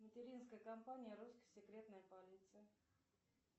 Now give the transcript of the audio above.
материнская компания русская секретная полиция